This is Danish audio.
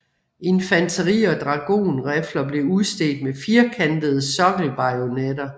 Infanteri og dragon rifler blev udstedt med firkantede sokkel bajonetter